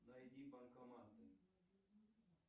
найди банкоматы